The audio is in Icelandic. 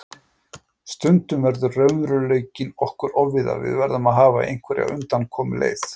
Stundum verður raunveruleikinn okkur ofviða, við verðum að hafa einhverja undankomuleið.